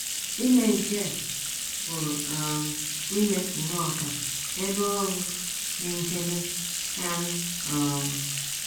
Ime nke a pụrụ um ime nnọọ ka ebe ọrụ dị nchebe karị um.